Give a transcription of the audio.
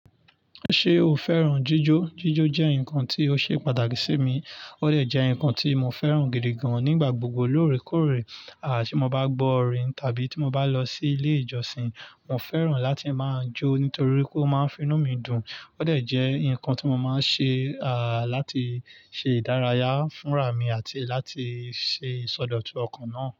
Ṣé o fẹ́ràn jíjó? Jíjó jẹ́ nǹkan tí ó ṣe pàtàkì sí mi. Ó de jẹ́ nǹkan tí mo fẹ́ràn gidi gan a nígbà gbogbo lóòrèkóòrè. À tí mo bá gbọ́ orin tàbí tí mo bá lọ sí ilé ìjọsìn, mo fẹ́ràn láti máa jó nítorí pe o máa ń finú mi dùn. Ó de jẹ́ nǹkan tí mo máa ń ṣe, àá láti ṣe ìdárayá fún rà mí àti láti ṣe ìsọdọ̀tun ọkàn náà.